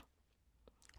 TV 2